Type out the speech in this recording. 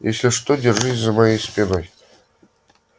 если что держись за моей спиной